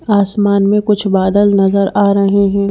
आसमान में कुछ बादल नजर आ रहे हैं।